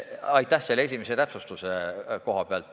Aitäh selle esimese täpsustuse eest!